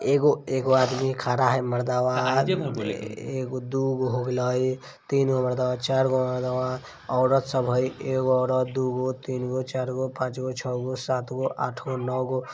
एगो एगो आदमी खड़ा है मर्दावा एगो दूगो होले तीन गो मर्दावा चार गो मर्दावा औरत सब है एक औरत दो गो तीन गो चार गो पांच गो छ गो सात गो आठ गो नो गो--